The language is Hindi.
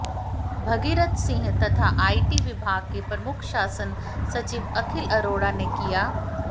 भगीरथ सिंह तथा आईटी विभाग के प्रमुख शासन सचिव अखिल अरोड़ा ने किया